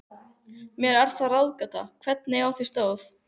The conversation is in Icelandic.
Mér er það ráðgáta, hvernig á því stóð.